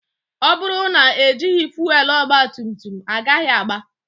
Ọ bụrụ na ejighi fuelu, ogba tum tum agaghị aga